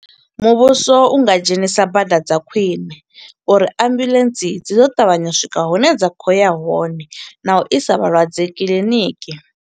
Muvhuso u nga dzhenisa bada dza khwiṋe, uri ambuḽentse dzi ḓo ṱavhanya u swika hune dza khou ya hone, na u isa vhalwadze kiḽiniki.